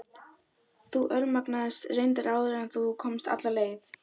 Þú örmagnaðist reyndar áður en þú komst alla leið.